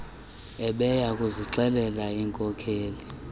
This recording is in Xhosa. ebeya kuzixelela iinkokeli